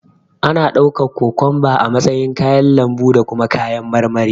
Ana ɗaukan kokomba a matsayin kayan lambu da kuma kayan marmari.